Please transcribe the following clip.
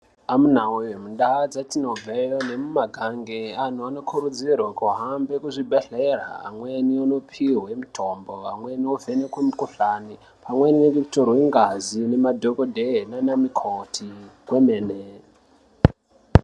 Amunawee mundaa dzatinobveyo ngemumagange anonhu anokurudzirwe kuhambe kuzvibhedhlera amweni inopihwe mitombo , amweni ovhenekwe mikhuhlani pamweni nekutorwe ngazi nemadhokodheya nana mukoti kwemene.